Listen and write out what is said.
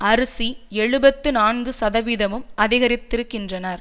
அரிசி எழுபத்து நான்கு சதவீதமும் அதிகரித்திருக்கின்றன